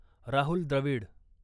Rahul Dravid